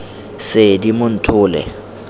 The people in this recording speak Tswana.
seedimonthole